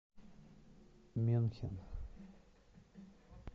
мюнхен